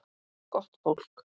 Gott fólk.